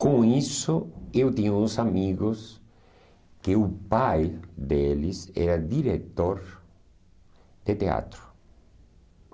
Com isso, eu tinha uns amigos que o pai deles era diretor de teatro.